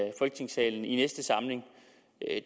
i folketingssalen i næste samling